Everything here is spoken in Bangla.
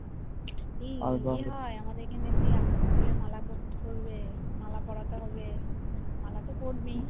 এই ইয়ে হয় আমাদের এখানে সেই আকন্দ ফুলের মালা করবে মালা পড়াতে হবে মালা তো পড়বি